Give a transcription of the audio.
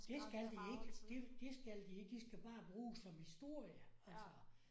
Det skal de ikke det det skal de ikke de skal bare bruges som historie altså